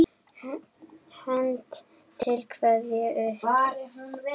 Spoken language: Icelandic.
Hönd til kveðju upp!